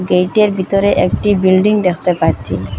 গেইটের ভিতরে একটি বিল্ডিং দেখতে পাচ্ছি।